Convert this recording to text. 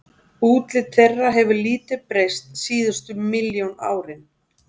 Útlit þeirra hefur lítið breyst síðustu milljón árin.